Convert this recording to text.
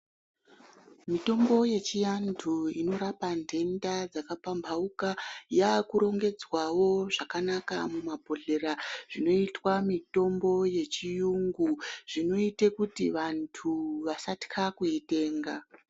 Mitombo yechiyandu inorapa ndenda dzaka pamhauka yaakurongedzwawo zvakanaka mumabhohleya, zvinoitwa yechiyungu zvinoita kuti wandu wasate kuitenga.